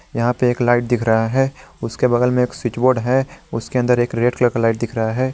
यहां पे एक लाइट दिख रहा है उसके बगल में एक स्विच बोर्ड है उसके अंदर एक रेड कलर लाइट दिख रहा है।